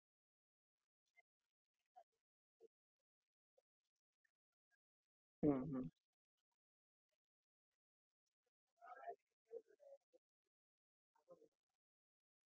आमचे employee तिकडे जातात तेंव्हा तो fridge तो piece pack बंद असत. तो कोणालाही बघायला मिळत नाही ratheramazon चे कुठलेच member कोणतेच fridge किंवा काय जे असेल ते पाहत नाही